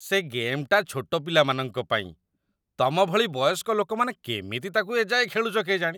ସେ ଗେମ୍‌ଟା ଛୋଟ ପିଲାମାନଙ୍କ ପାଇଁ । ତମ ଭଳି ବୟସ୍କ ଲୋକମାନେ କେମିତି ତା'କୁ ଏ ଯାଏଁ ଖେଳୁଚ କେଜାଣି?